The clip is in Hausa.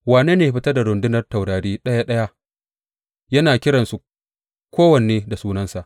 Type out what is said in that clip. Wane ne ya fitar da rundunar taurari ɗaya ɗaya, yana kiransu, kowanne da sunansa.